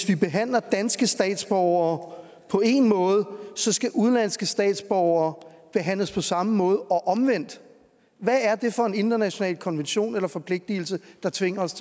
vi behandler danske statsborgere på en måde så skal udenlandske statsborgere behandles på samme måde og omvendt hvad er det for en international konvention eller forpligtelse der tvinger os